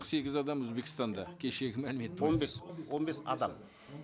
сегіз адам өзбекстанда кешегі мәлімет бойынша он бес он бес адам